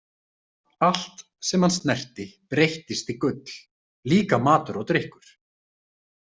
Allt sem hann snerti breyttist í gull, líka matur og drykkur.